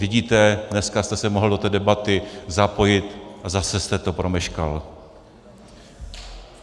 Vidíte, dneska jste se mohl do té debaty zapojit a zase jste to promeškal.